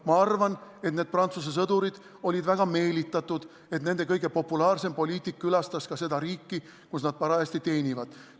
Ma arvan, et need Prantsuse sõdurid olid väga meelitatud, et nende kõige populaarsem poliitik külastas seda riiki, kus nad parajasti teenivad.